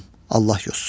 Allah yozsun.